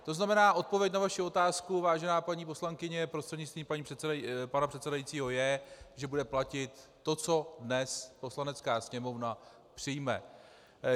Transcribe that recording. To znamená, odpověď na vaši otázku, vážená paní poslankyně prostřednictvím pana předsedajícího, je, že bude platit to, co dnes Poslanecká sněmovna přijme.